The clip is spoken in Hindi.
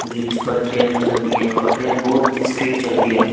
जो इस पर ट्रेन चलती है और ट्रेन बहुत स्पीड चलती है।